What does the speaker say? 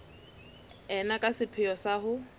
ena ka sepheo sa ho